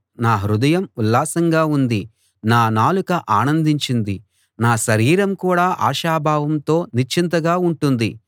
నా హృదయం ఉల్లాసంగా ఉంది నా నాలుక ఆనందించింది నా శరీరం కూడా ఆశాభావంతో నిశ్చింతగా ఉంటుంది